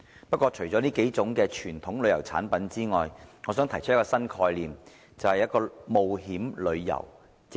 不過，除了這數種傳統旅遊產品之外，我想提出一個新概念，便是冒險旅遊。